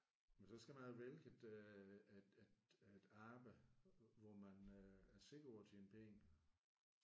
Men så skal man jo vælge et øh et et arbejde hvor man øh er sikker på at tjene penge